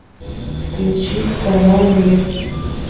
включи канал мир